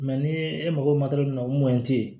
ni e mago mun na o